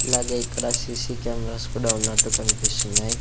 ఇలాగే ఇక్కడా C C cameras కూడా ఉన్నట్టు కన్పిస్తున్నాయ్.